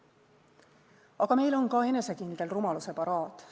Aga meil on ka enesekindel rumaluse paraad.